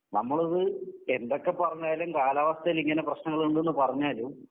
നമ്മളത് എന്തൊക്കെ പറഞ്ഞാലും